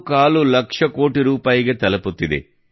25 ಲಕ್ಷ ಕೋಟಿ ರೂಪಾಯಿಗೆ ತಲುಪುತ್ತಿದೆ